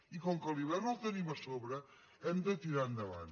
i com que l’hivern el tenim a sobre hem de tirar endavant